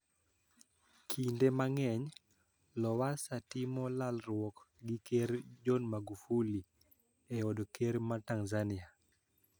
Kinde mang`eny Lowassa timo lalruok gi ker John Magufuli e od ker ma Tanzania